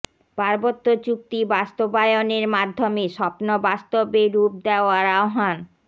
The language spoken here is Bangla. পার্বত্য চুক্তি বাস্তবায়নের মাধ্যমে স্বপ্ন বাস্তবে রূপ দেওয়ার আহ্বান